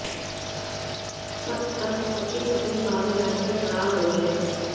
तब तक कपिल अपनी कार में बैठकर फरार हो गया